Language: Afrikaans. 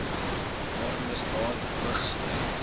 waar misdaad hoogty